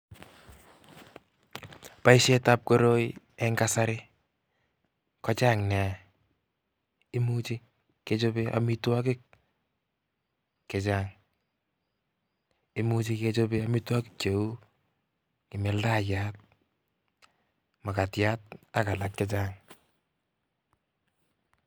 Boisiet ab koroi eng' kasari ko chang' nea. Imuchi kechobe amitwogik chechang'. Imuchi kechobe amitwogik cheu kimildayat, mukatiyat ak alak chechang'.